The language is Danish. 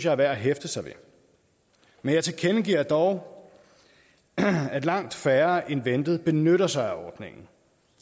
er værd at hæfte sig ved men jeg tilkendegiver dog at langt færre end ventet benytter sig af ordningen